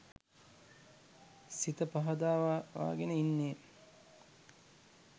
සිත පහදවාගෙන ඉන්නේ